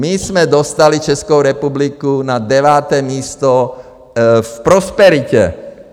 My jsme dostali Českou republiku na deváté místo v prosperitě.